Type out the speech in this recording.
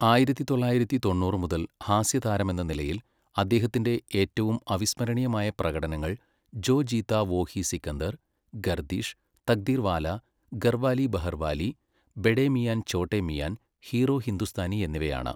ആയിരത്തി തൊള്ളായിരത്തി തൊണ്ണൂറ് മുതൽ ഹാസ്യതാരമെന്ന നിലയിൽ അദ്ദേഹത്തിന്റെ ഏറ്റവും അവിസ്മരണീയമായ പ്രകടനങ്ങൾ ജോ ജീതാ വോഹി സിക്കന്ദർ, ഗർദിഷ്, തക്ദീർവാല, ഗർവാലി ബഹർവാലി, ബഡേ മിയാൻ ചോട്ടെ മിയാൻ, ഹീറോ ഹിന്ദുസ്ഥാനി എന്നിവയാണ്.